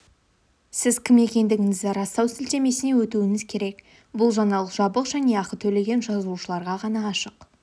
сіз кім екендігіңізді растау сілтемесіне өтуіңіз керек бұл жаңалық жабық және ақы төлеген жазылушыларға ғана ашық